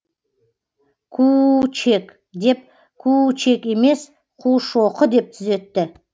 куу чек деп куу чек емес қушоқы деп түзетті